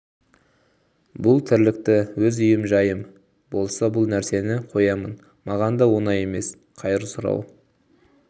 бұл тірлікті өз үйім жайым болса бұл нәрсені қоямын маған да оңай емес қайыр сұрау